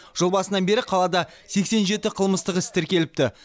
жыл басынан бері қалада сексен жеті қылмыстық іс тіркеліпті